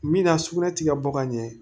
Min na sugunɛ ti ka bɔ ka ɲɛ